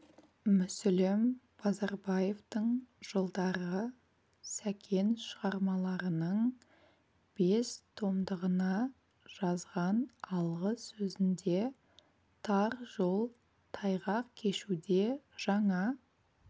мүсілім базарбаевтың жылдары сәкен шығармаларының бес томдығына жазған алғы сөзінде тар жол тайғақ кешуде жаңа